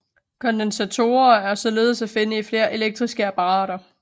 Kondensatorer er således at finde i flere elektriske apparater